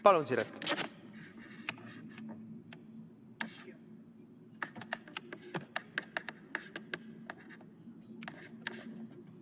Palun, Siret!